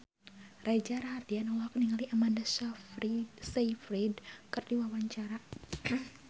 Reza Rahardian olohok ningali Amanda Sayfried keur diwawancara